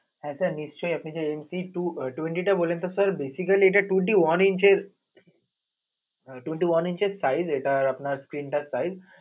হ্যা sir নিশ্চয়ই! আপনি যে, mt two~ twenty sir basically এটা twenty one inch এর~ twenty one inch এর size এটা আপনার তিনটা size